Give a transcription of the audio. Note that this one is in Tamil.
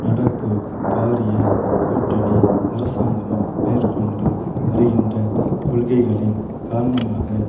நடப்பு பாரிய கூட்டணி அரசாங்கமும் மேற்கொண்டு வருகின்ற கொள்கைகளின் காரணமாக